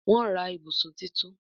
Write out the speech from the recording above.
Wón rà ibùsùn títún.